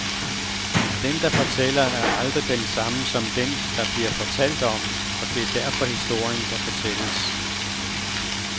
Den, der fortæller, er aldrig den samme som den, der bliver fortalt om, og det er derfor historien kan fortælles.